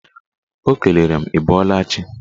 Ọ kelere m ị bọọla chi.